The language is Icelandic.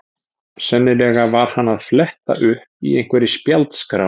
Sennilega var hann að fletta upp í einhverri spjaldskrá.